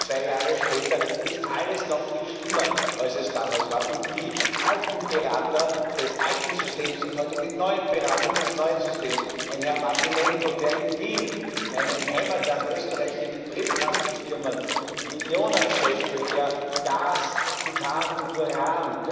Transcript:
Und heute zwei Jahre später ist alles noch viel schlimmer, als es damals war, und die alten Berater des alten Systems sind heute die neuen Berater des neuen Systems ein Herr Martynenko, der in Wien, in meinem Heimatland Österreich, mit Briefkastenfirmen Millionen scheffelt, der Gas, Titan und Uran